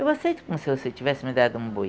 Eu aceito como se você tivesse me dado um boi.